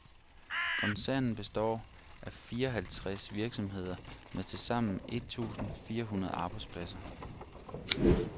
Koncernen består af fireoghalvtres virksomheder med tilsammen et tusind fire hundrede arbejdspladser.